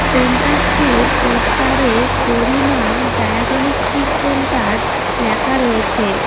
Centre টির poster এ Garima diagnostic centre লেখা রয়েছে।